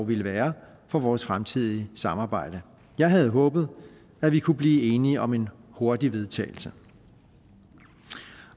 ville være for vores fremtidige samarbejde jeg havde håbet at vi kunne blive enige om en hurtig vedtagelse